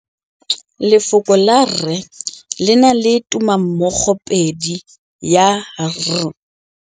Lefoko la rre le na le tumammogôpedi ya, r.